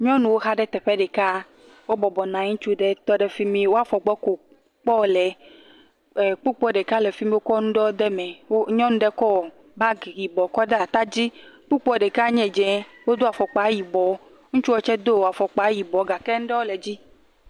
Nyɔnuwo xa ɖe teƒe ɖeka, wo bɔbɔ nɔ anyi, ŋutsu ɖe tɔ ɖe fimi, woa fɔgbɔ ko kpɔm wole. Kpukpo ɖeka le fimi, wokɔ nu ɖewoe kɔ de me. Nyɔnu ɖe kɔ bagi yibɔ kɔ de ata dzi. Kpukpoa ɖeka nye dzɛ, wodo afɔkpa yibɔ. Ŋutsua ɖeka tsɛ do afɔkpa yibɔ gake nuɖewo le edzi.